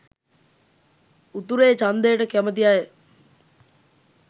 උතුරේ චන්දයට කැමති අය